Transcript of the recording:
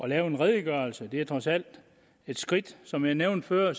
lave en redegørelse det er trods alt et skridt som jeg nævnte før